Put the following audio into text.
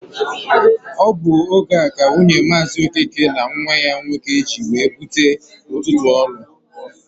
Ọ bụ oge a ka nwunye Maazi Okeke na nwa ya nwoke ji wee bute ụtụtụ ọlụ.